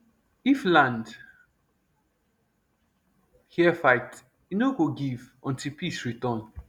if land hear fight e no go give until peace return